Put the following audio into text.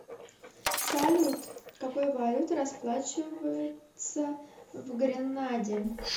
салют какой валютой расплачиваются в гренаде